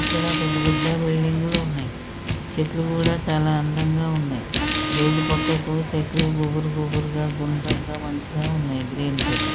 ఇక్కడ పెద్ద పెద్ద బిల్డింగు లు ఉన్నయ్ చెట్లు కూడా చాలా అందంగా ఉన్నయ్ రోడ్డు పక్కకు చెట్లు గుబురు గుబురుగా గుండ్రంగా మంచిగా ఉన్నయ్ గ్రీన్ చెట్లు.